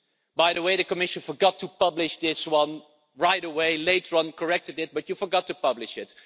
By the way, the Commission forgot to publish this one right away later on corrected it, but forgot to publish it.